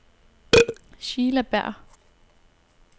Sheila Berger